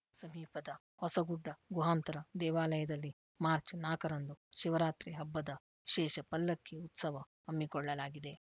ಸಮೀಪದ ಹೊಸಗುಡ್ಡ ಗುಹಾಂತರ ದೇವಾಲಯದಲ್ಲಿ ಮಾರ್ಚ್ ನಾಲ್ಕು ರಂದು ಶಿವರಾತ್ರಿ ಹಬ್ಬದ ವಿಶೇಷ ಪಲ್ಲಕ್ಕಿ ಉತ್ಸವ ಹಮ್ಮಿಕೊಳ್ಳಲಾಗಿದೆ